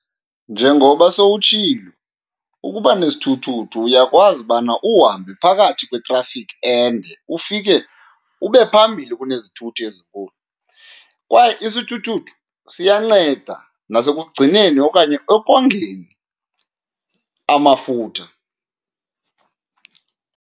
Njengoba sowutshilo, ukuba nesithuthuthu uyakwazi ubana uhambe phakathi kwetrafikhi ende ufike ube phambili kunezithuthi ezinkulu, kwaye isithuthuthu siyanceda nasekugcineni okanye ekongeni amafutha.